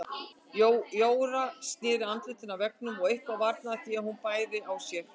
Jóra sneri andlitinu að veggnum og eitthvað varnaði því að hún bærði á sér.